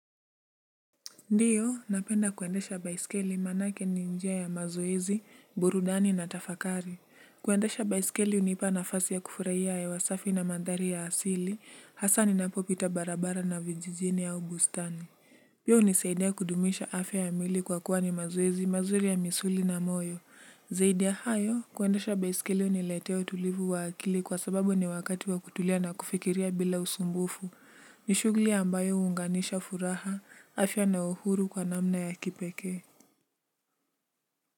Ndiyo, napenda kuendesha baiskeli maanake ni njia ya mazoezi, burudani na tafakari. Kuendesha baiskeli hunipa nafasi ya kufurahia hewa safi na mandhari ya asili, hasa ninapopita barabara na vijijini au bustani. Pia hunisaidia kudumisha afya ya mwili kwa kuwa ni mazoezi mazuri ya misuli na moyo. Zaidi ya hayo, kuendesha baiskeli huniletea utulivu wa akili kwa sababu ni wakati wa kutulia na kufikiria bila usumbufu. Ni shughuli ambayo huunganisha furaha afya na uhuru kwa namna ya kipekee.